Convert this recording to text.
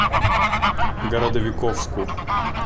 городовиковску